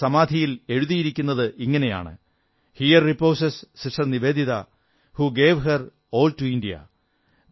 അവരുടെ സമാധിയിൽ എഴുതിയിരിക്കുന്നതിങ്ങനെയാണ് here reposes Sister Nivedita who gave her all to India